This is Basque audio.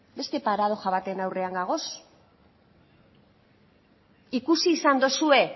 beste paradoxa baten aurrean gaude ikusi izan dozue